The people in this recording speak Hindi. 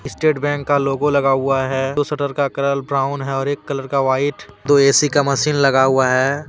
स्टेट बैंक का लोगों लगा हुआ है दो शटर का कलर ब्राऊन है और एक कलर का व्हाइट दो ए_सी का मशीन लगा हुआ हैं।